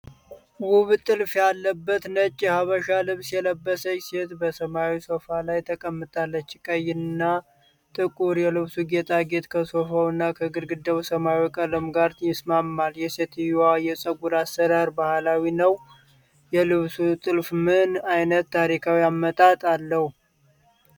ውብ ጥልፍ ያለበት ነጭ የሐበሻ ልብስ የለበሰች ሴት በሰማያዊ ሶፋ ላይ ተቀምጣለች። ቀይ እና ጥቁር የልብሱ ጌጣጌጥ ከሶፋውና ከግድግዳው ሰማያዊ ቀለም ጋር ይስማማል። የሴትየዋ የፀጉር አሰራር ባህላዊ ነው። የልብሱ ጥልፍ ምን ዓይነት ታሪካዊ አመጣጥ አለው?